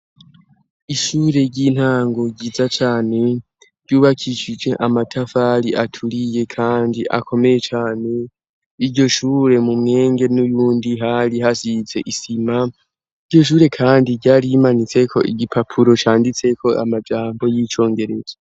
Ishure ry'intango ryiza cane ryubakishije amatafari aturiye, kandi akomeye cane iryo shure mu mwenge n'uyundi hari hasize isima iryo shure, kandi ryari imanitseko igipapuro canditseko amajambo y'icongerezo.